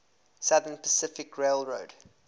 southern pacific railroad